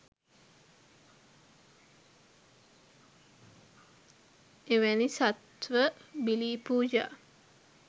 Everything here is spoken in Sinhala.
එවැනි සත්ත්ව බිලි පූජා